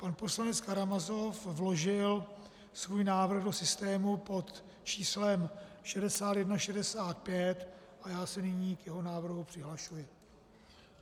Pan poslanec Karamazov vložil svůj návrh do systému pod číslem 6165 a já se nyní k jeho návrhu přihlašuji.